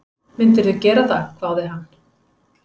Myndirðu gera það? hváði hann.